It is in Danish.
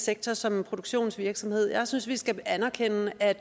sektor som en produktionsvirksomhed jeg synes vi skal anerkende at